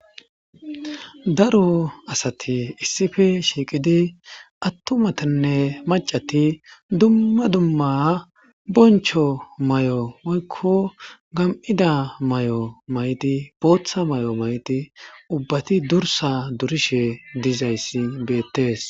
daro asati issife shiiqidi attumatinne macati dumma dumma boncho mayo moykko gam7ida mayo maydi booththa may7o mayti ubbati durissa durishe dizayssi beettes